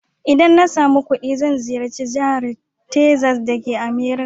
Idan na samu kuɗi zai ziyarci Jahar Texas dake Amurika.